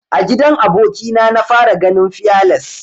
A gidan aboki na na fara ganin fearless.